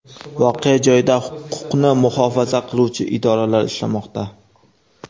Voqea joyida huquqni muhofaza qiluvchi idoralar ishlamoqda.